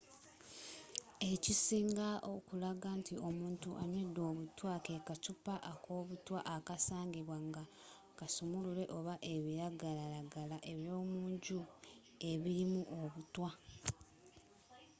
ekisinga okulaga nti omuntu anywedde obutwa ke kaccupa akobutwa okusangibwa nga kasumulule oba ebiragalagala ebyomunju ebirimu obutwa